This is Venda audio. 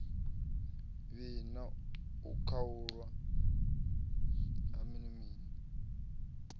vhi na u khaulwa ha